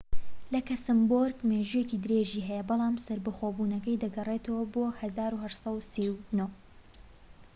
لەکسەمبۆرگ مێژوویەکی درێژی هەیە بەڵم سەربەخۆبونەکەی دەگەرێتەوە بۆ ١٨٣٩